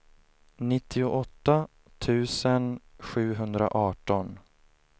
nittioåtta tusen sjuhundraarton